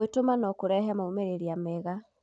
Gwĩtũma no kũrehe maumĩrĩra mega.